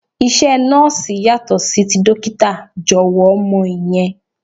Iṣẹ́ Nọ́ọ̀sì yàtọ̀ sí ti dókítà, jọ̀wọ́ mọ ìyẹn.